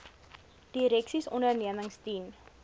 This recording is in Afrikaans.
direksies ondernemings dien